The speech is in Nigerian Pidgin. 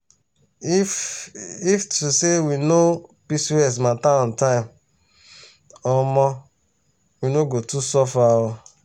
if if to say we know pcos matter on time omo we no go too suffer oo.